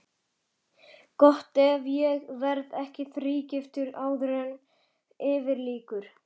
Gott ef ég verð ekki þrígiftur áður en yfir lýkur.